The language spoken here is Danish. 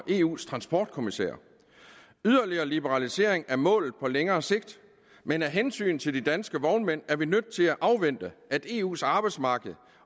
eus transportkommissær yderligere liberalisering er målet på længere sigt men af hensyn til de danske vognmænd er vi nødt til at afvente at eus arbejdsmarked